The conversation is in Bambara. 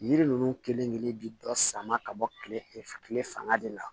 Yiri ninnu kelen kelen bɛ dɔ sama ka bɔ kile fanga de la